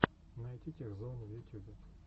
найти тех зоун в ютюбе